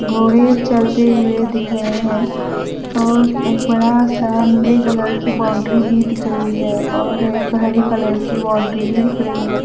घोड़े चरते हुए दिख रहे हैं और एक बड़ा सा नीले कलर की बाउंड्री भी दिख रही है और एक हरी कलर की बाउंड्री भी दिख रही है।